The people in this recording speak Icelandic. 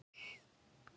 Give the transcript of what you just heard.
En fnykur